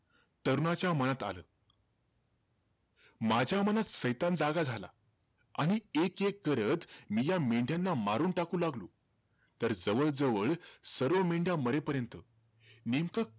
तरुणाच्या मनात आलं, माझ्या मनात सैतान जागा झाला. आणि एक-एक करत मी ह्या मेंढ्याना मारून टाकू लागलो. तर जवळ-जवळ सर्व मेंढ्या मरेपर्यंत नेमकं,